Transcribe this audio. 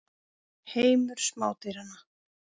Heimur smádýranna.